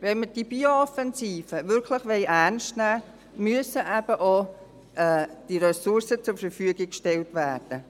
Wenn wir die Bio-Offensive wirklich ernst nehmen wollen, müssen auch die Ressourcen zur Verfügung gestellt werden.